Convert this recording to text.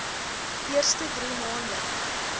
eerste drie maande